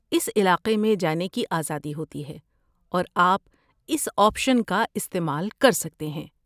اس علاقے میں جانے کی آزادی ہوتی ہے اور آپ اس آپشن کا استعمال کر سکتے ہیں۔